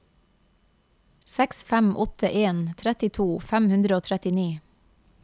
seks fem åtte en trettito fem hundre og trettini